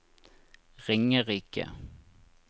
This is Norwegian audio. Ringerike